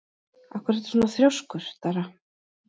Af hverju ertu svona þrjóskur, Dara?